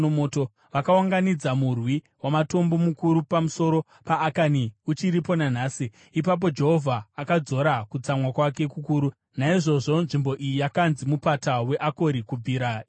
Vakaunganidza murwi wamatombo mukuru pamusoro paAkani, uchiripo nanhasi. Ipapo Jehovha akadzora kutsamwa kwake kukuru. Naizvozvo nzvimbo iyi yakanzi Mupata weAkori kubvira ipapo.